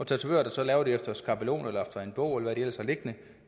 tatovører der laver det efter skabelon eller efter en bog eller hvad de ellers har liggende